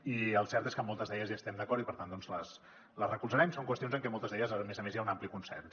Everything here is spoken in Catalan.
i el cert és que en moltes d’elles hi estem d’acord i per tant les recolzarem són qüestions en què en moltes d’elles a més a més hi ha un ampli consens